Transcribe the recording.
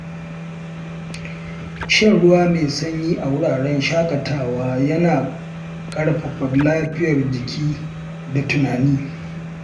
Shan ruwa mai sanyi a wuraren shaƙatawa yana ƙarfafa lafiyar jiki da tunani.